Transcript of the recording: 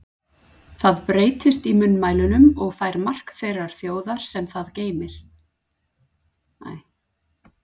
Það breytist í munnmælunum og fær mark þeirrar þjóðar, sem geymir það.